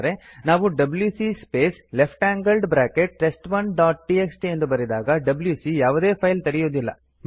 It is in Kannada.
ಆದರೆ ನಾವು WC space left angled bracket test one dot TXT ಎಂದು ಬರೆದಾಗ ಡಬ್ಯೂಸಿ ಯಾವುದೇ ಫೈಲ್ ತೆರೆಯುದಿಲ್ಲ